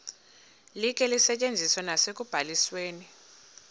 likhe lisetyenziswe nasekubalisweni